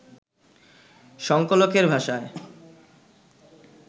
সংকলকের ভাষায়